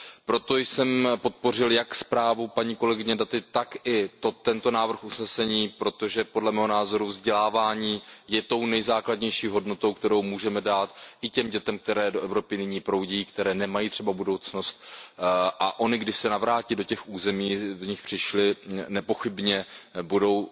Proto jsem podpořil jak zprávu kolegyně Datiové, tak i tento návrh usnesení, protože podle mého názoru vzdělávání je tou nejzákladnější hodnotou, kterou můžeme dát i těm dětem, které do Evropy nyní proudí, které nemají třeba budoucnost, a ony, když se navrátí do těch území, z nichž přišly, nepochybně budou